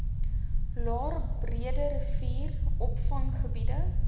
laer breederivier opvanggebied